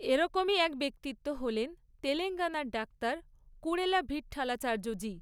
এরকমই এক ব্যক্তিত্ব হলেন তেলেঙ্গানার ডাক্তার কুরেলা ভিটঠালাচার্য জি।